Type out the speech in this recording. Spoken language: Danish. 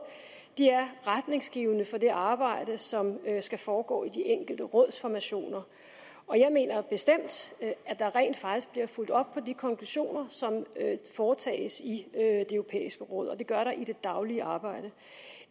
er retningsgivende for det arbejde som skal foregå i de enkelte rådsformationer og jeg mener bestemt at der rent faktisk bliver fulgt op på de konklusioner som foretages i det europæiske råd og det gøres der i det daglige arbejde